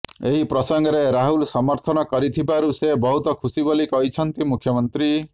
ଏହି ପ୍ରସଙ୍ଗରେ ରାହୁଲ ସମର୍ଥନ କରିଥିବାରୁ ସେ ବହୁତ ଖୁସି ବୋଲି କହିଛନ୍ତି ମୁଖ୍ୟମନ୍ତ୍ରୀ